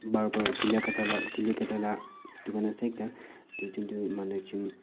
barbar chuli kata ga chuli kata lah dukan ase ekta dui jon tu manu ekjon--